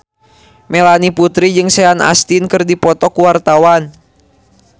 Melanie Putri jeung Sean Astin keur dipoto ku wartawan